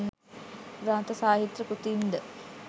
ග්‍රන්ථ සාහිත්‍ය කෘතීන්ද